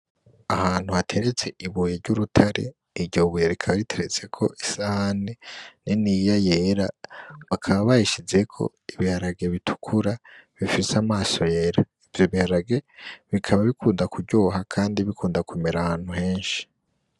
Ahantu hateretse ibuye ry'urutare, iryo buye rikaba riteretseko isahani niniya yera, bakaba bayishizeko ibiharage bitukura bifise amaso yera, ivyo biharage bikaba bikunda kuryoha kandi bikunda kumera ahantu henshi.